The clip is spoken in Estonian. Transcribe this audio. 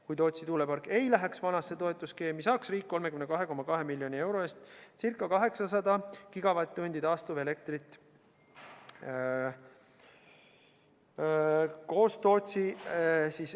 Kui Tootsi tuulepark ei läheks vanasse toetusskeemi, saaks riik 32,2 miljoni euro eest ca 800 gigavatt-tundi taastuvelektrit.